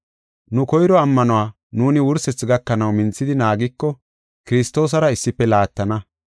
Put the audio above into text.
Nu koyro ammanuwa nuuni wursethi gakanaw minthidi naagiko, Kiristoosara issife laattana.